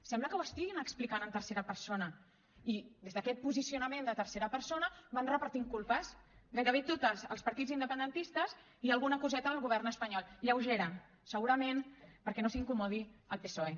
sembla que ho estiguin explicant en tercera persona i des d’aquest posicionament de tercera persona van repartint culpes gairebé totes als partits independentistes i alguna coseta al govern espanyol lleugera segurament perquè no s’incomodi el psoe